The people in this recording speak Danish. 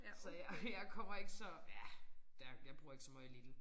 Så jeg jeg kommer ikke så ja der jeg bruger ikke så meget Lidl